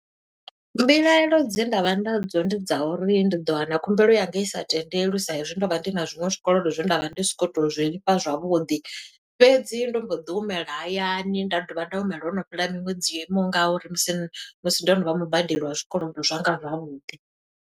Mbilaelo dze nda vha nadzo ndi dza uri, ndi ḓo wana khumbelo yanga i sa tendelwi sa e zwi ndo vha ndi na zwiṅwe zwikolodo zwe nda vha ndi soko to zwi lifha zwavhuḓi. Fhedzi ndo mbo ḓi humela hayani nda dovha nda humela ho no fhela miṅwedzi yo imaho nga uri musi musi ndo no vha mubadeli wa zwikolodo zwanga zwavhuḓi.